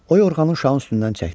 O yorğanı uşağın üstündən çəkdi.